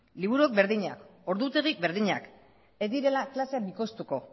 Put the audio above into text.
liburu berdinak ordutegi berdinak ez direla klaseak bikoiztuko